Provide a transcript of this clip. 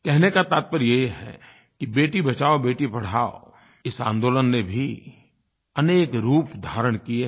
कहने का तात्पर्य ये है कि बेटी बचाओबेटी पढ़ाओ इस आंदोलन ने भी अनेक रूप धारण किए हैं